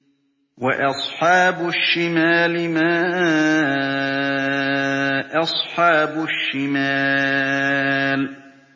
وَأَصْحَابُ الشِّمَالِ مَا أَصْحَابُ الشِّمَالِ